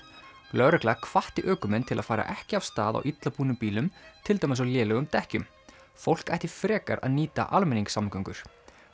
lögreglan hvatti ökumenn til að fara ekki af stað á illa búnum bílum til dæmis á lélegum dekkjum fólk ætti frekar að nýta almenningssamgöngur